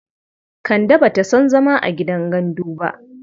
Kande ba ta son zama a gidan gandu ba.